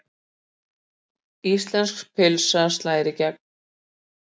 Íslenska pylsan slær í gegn